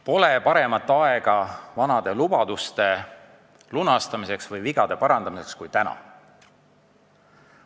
Pole paremat aega vanade lubaduste lunastamiseks ja vigade parandamiseks kui täna.